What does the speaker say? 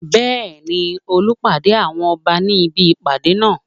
Bẹ́ẹ̀ni, Olú pàdé àwọn Ọba ní ibi ìpàdé náà